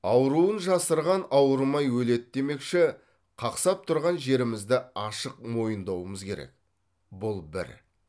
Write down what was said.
ауруын жасырған ауырмай өледі демекші қақсап тұрған жерімізді ашық мойындауымыз керек бұл бір